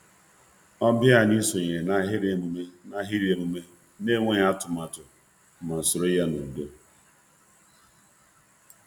Ọbịa anyị sonyere n’ahịrị emume n’ahịrị emume n’enweghị atụmatụ ma soro ya n’udo.